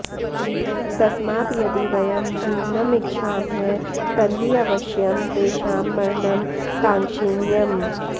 तस्मात् यदि वयं जीवनम् इच्छामः तर्हि अवश्यं तेषां मरणं काङ्क्षणीयम्